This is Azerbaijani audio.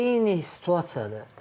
Eyni situasiyadır.